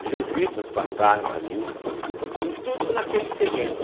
Os jesuítas passaram ali, tudo, tudo naquele terreno.